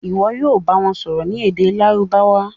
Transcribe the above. Ìwo yóò bá wón sòrò ní èdè Lárúbáwá.